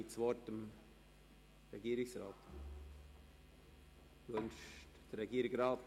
Ich erteile dem Regierungsrat das Wort.